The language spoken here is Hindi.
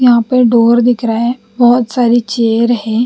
यहाँ पर डोर दिख रहा है बहुत सारी चेयर है।